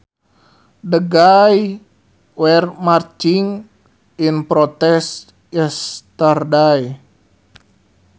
The gays were marching in protest yesterday